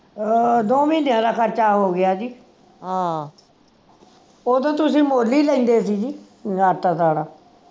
ਅਹ ਦੋ ਮਹੀਨਿਆਂ ਦਾ ਖਰਚਾ ਹੋ ਗਿਆ ਸੀ ਓਦੋਂ ਤੁਸੀਂ ਮੁੱਲ ਹੀ ਲੈਂਦੇ ਸੀ ਜੀ